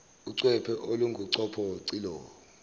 ucwephe olunguchopho cilo